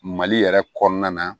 Mali yɛrɛ kɔnɔna na